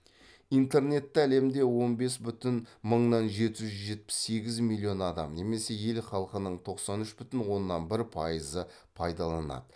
интернетті әлемде он бес бүтін мыңнан жеті жүз жетпіс сегіз миллион адам немесе ел халқының тоқсан үш бүтін оннан бір пайызы пайдаланады